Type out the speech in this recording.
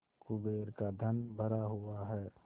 कुबेर का धन भरा हुआ है